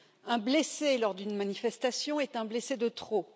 Un blessé lors d'une manifestation est un blessé de trop.